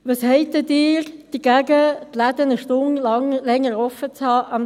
«Was haben Sie denn dagegen, dass die Läden samstags eine Stunde länger geöffnet haben?